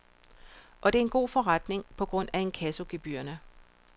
Og det er en god forretning på grund af inkassogebyrerne.